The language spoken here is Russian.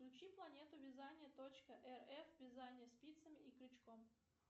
включи планету вязания точка рф вязание спицами и крючком